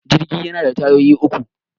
Jirgi yana da tayoyi uku